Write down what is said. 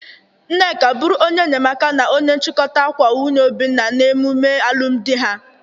Nneka bụrụ onye enyemaka na onye nchikọta akwa nwunye Obinna na emume alụmdị ha.